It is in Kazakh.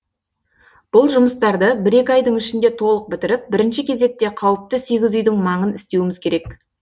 бұл жұмыстарды бір екі айдың ішінде толық бітіріп бірінші кезекте қауіпті сегіз үйдің маңын істеуіміз керек